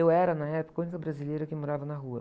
Eu era, na época, a única brasileira que morava na rua.